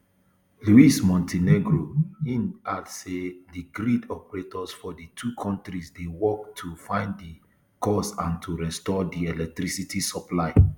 lus mon ten egro im add say di grid operators for di two kontris dey work to find di cause and to restore di electricity supply